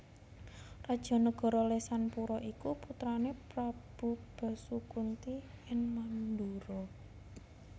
Raja nagara Lesanpura iku putrané Prabu Basukunti ing Mandura